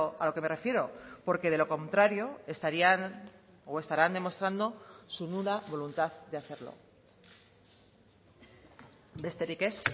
a lo que me refiero porque de lo contrario estarían o estarán demostrando su nula voluntad de hacerlo besterik ez